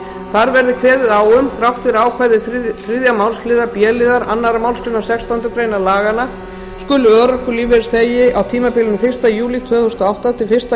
þar verði kveðið á um þrátt fyrir ákvæði þriðju málsliðar b liðar annarrar málsgreinar sextándu grein laganna skuli örorkulífeyrisþegi á tímabilinu fyrsta júlí tvö þúsund og átta til fyrsta